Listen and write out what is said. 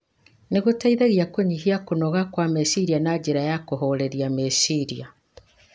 nĩ gũteithagia kũnyihia kũnoga kwa meciria na njĩra ya kũhooreria meciria.